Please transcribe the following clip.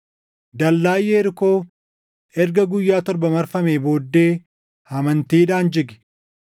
Dallaan Yerikoo erga guyyaa torba marfamee booddee amantiidhaan jige.